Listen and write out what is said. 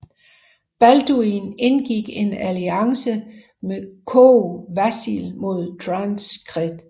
Balduin indgik en alliance med Kogh Vasil mod Tancred